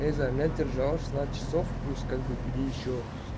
держал шестнадцать часов плюс как бы бери ещё